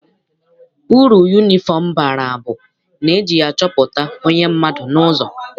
Uru yunifọm bara bụ na eji ya achọpụta onye mmadụ n'ụzọ.